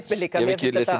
mér líka ég hef